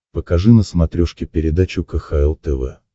покажи на смотрешке передачу кхл тв